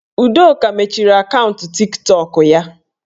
Udoka mechiri akaụntụ Tiktọk ya